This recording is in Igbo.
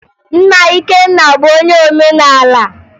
Nna Ikenna bụ onye omenala